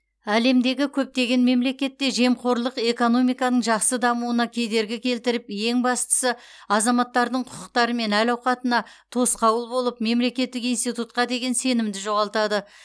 әлемдегі көптеген мемлекетте жемқорлық экономиканың жақсы дамуына кедергі келтіріп ең бастысы азаматтардың құқықтары мен әл ауқатына тосқауыл болып мемлекеттік институтқа деген сенімді жоғалтады